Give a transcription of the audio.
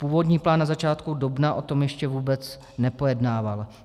Původní plán na začátku dubna o tom ještě vůbec nepojednával.